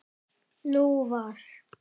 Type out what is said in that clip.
Nú var